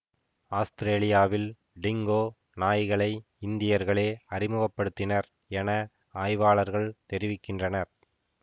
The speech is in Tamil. ஆத்திரேலியாவில் டிங்கோ நாய்களை இந்தியர்களே அறிமுக படுத்தினர் என ஆய்வாளர்கள் தெரிவிக்கின்றனர்